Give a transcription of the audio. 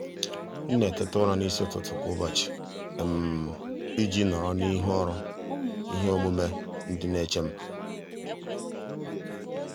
m na-eteta ụra n'isi ụtụtụ kwa ụbọchị iji nọrọ n'ihu ọrụ ihe omume ndị na-eche m.